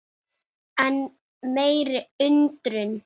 Bannið er algert.